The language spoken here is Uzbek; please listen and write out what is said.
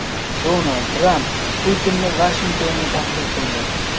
Donald Tramp Putinni Vashingtonga taklif qildi.